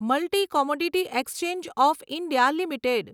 multi commodity exchange of India limited